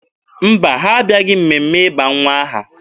Mba, ha abịaghị mmemme ịba nwa m aha